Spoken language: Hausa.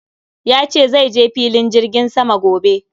Yace zaije filin jirgin sama gobe